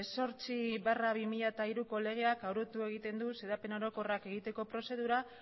zortzi barra bi mila hiruko legeak arautu egiten du xedapen orokorrak egiteko prozedura